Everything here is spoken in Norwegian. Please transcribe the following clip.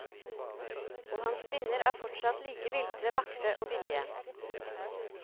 Og hans kvinner er fortsatt like viltre, vakre og villige.